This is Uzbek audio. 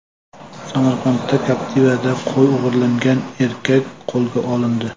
Samarqanda Captiva’da qo‘y o‘g‘irlagan erkak qo‘lga olindi.